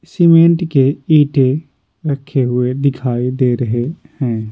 Cement के ईंटे रखे हुए दिखाई दे रहे हैं।